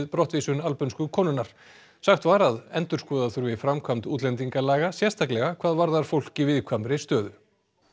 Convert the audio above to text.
brottvísun albönsku konunnar sagt var að endurskoða þurfi framkvæmd útlendingalaga sérstaklega hvað varðar fólk í viðkvæmri stöðu